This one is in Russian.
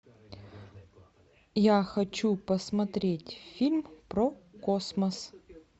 я хочу посмотреть фильм про космос